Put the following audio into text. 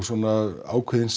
svona ákveðin